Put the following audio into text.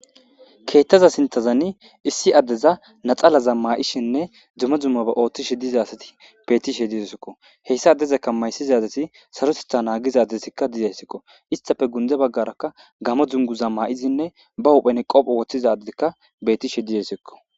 Keetta garssan issi addeza natsalaza ma'ishinne dumma dummaba oottishe diza asati be'ettishe de'osikko. Hayssa addezakka maysiza dizashi sarota naggisiya addizaddika de'iza issakko. Isttape dunguza gaara gamo dunguza ma'izinne bawuban qobba wothishe be'ettishe de'osikko.